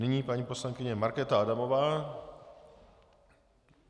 Nyní paní poslankyně Markéta Adamová.